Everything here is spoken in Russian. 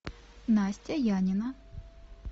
настя янина